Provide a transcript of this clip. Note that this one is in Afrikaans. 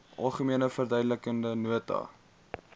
algemene verduidelikende nota